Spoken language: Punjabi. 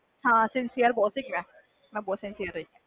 ਹਾਂ sincere ਬਹੁਤ ਸੀ ਮੈਂ